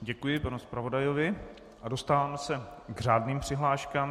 Děkuji panu zpravodaji a dostáváme se k řádným přihláškám.